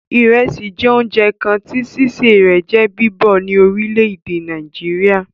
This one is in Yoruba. Ìrẹsì jẹ́ oúnjẹ kan tí sísè rẹ̀ jẹ́ bíbọ̀ ní orílè èdè Nàìjíríà